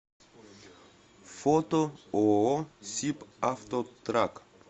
фото ооо сиб автотрак